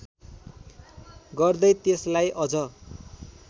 गर्दै त्यसलाई अझ